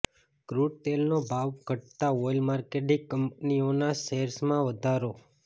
ક્રૂડતેલનો ભાવ ઘટતાં oil marketing કંપનીઓના શેર્સમાં સુધારો